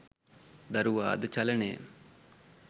දරුවා ද චලනය,